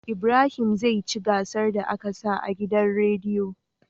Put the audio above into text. Ibrahim zai ci gasar da aka sa a gidan rediyo